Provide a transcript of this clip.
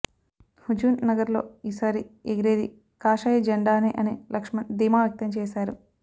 హుజూర్ నగర్ లో ఈ సరి ఎగిరేది కాషాయ జెండానే అని లక్ష్మణ్ ధీమా వ్యక్తం చేసారు